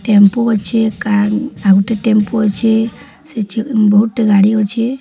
Tempo ଅଛି car ଆଉ ଗୋଟେ ଟେମ୍ପୁ ଅଛି ସେ ଯ ବହୁତ ଟି ଗାଡ଼ି ଅଛି।